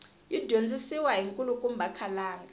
yi dyondzisiwa hi nkulukumba khalanga